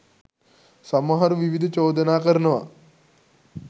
සමහරු විවිධ චෝදනා කරනවා.